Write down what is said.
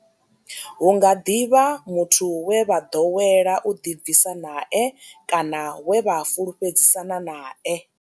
Hu nga ḓi vha muthu we vha ḓowela u ḓibvisa nae kana we vha fhulufhedzisana nae.